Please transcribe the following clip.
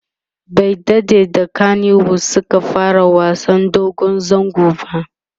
bai daɗe da kanywood Suka fara wasan dogon zango ba